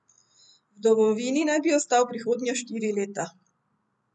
V domovini naj bi ostal prihodnja štiri leta.